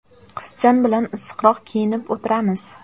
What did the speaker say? Qizcham bilan issiqroq kiyinib o‘tiramiz.